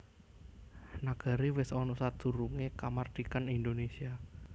Nagari wis ana sadurungé kamardikan Indonésia